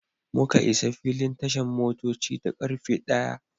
Muka isa filin tashan motoci da karfe ɗaya.